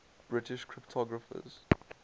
british cryptographers